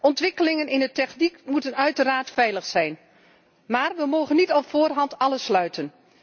Ontwikkelingen in de techniek moeten uiteraard veilig zijn, maar we mogen niet op voorhand alles uitsluiten.